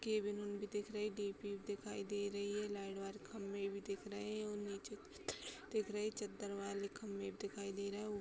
Cabin उन भी दिखाई दे रहे। भी दिख रही है। लाइट वाले खंभे भी दिखाई दे रहे हैं और नीचे पत्थर दिखाई दे रहे। चद्दर वाले खंबे भी दिखाई दे रहे हैं। उ-